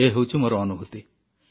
ଏ ହେଉଛି ମୋର ଅନୁଭୂତି